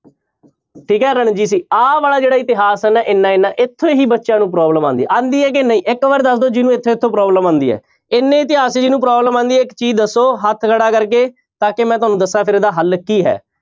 ਠੀਕ ਹੈ ਆਹ ਵਾਲਾ ਜਿਹੜਾ ਇਤਿਹਾਸ ਹੈ ਨਾ ਇੰਨਾ ਇੰਨਾ ਇੱਥੋਂ ਹੀ ਬੱਚਿਆਂ ਨੂੰ problem ਆਉਂਦੀ ਹੈ ਆਉਂਦੀ ਹੈ ਕਿ ਨਹੀਂ ਇੱਕ ਵਾਰ ਦੱਸ ਦਓ ਜਿਹਨੂੰ ਇੱਥੋਂ ਇੱਥੋਂ problem ਆਉਂਦੀ ਹੈ, ਇੰਨੇ ਇਤਿਹਾਸ 'ਚ ਜਿਹਨੂੰ problem ਆਉਂਦੀ ਹੈ ਇੱਕ ਚੀਜ਼ ਦੱਸੋ ਹੱਥ ਖੜਾ ਕਰਕੇ ਤਾਂ ਕਿ ਮੈਂ ਤੁਹਾਨੂੰ ਦੱਸਾਂ ਫਿਰ ਇਹਦਾ ਹੱਲ ਕੀ ਹੈ।